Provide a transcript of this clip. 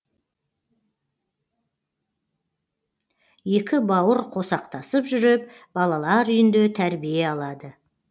екі бауыр қосақтасып жүріп балалар үйінде тәрбие алады